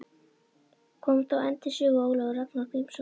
Kom þá enn til sögu Ólafur Ragnar Grímsson.